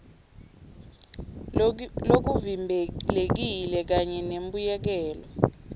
lokuvimbelekile kanye nembuyekelo